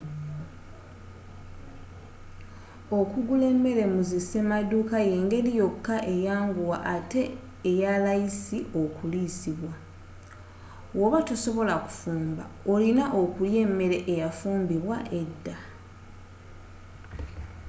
okugula emmere mu zi semaduuka yengeri yokka enyangu ate eyalayisi okuliisibwa woba tosobola kufumba orina kulya mmere ebayafumbidwa edda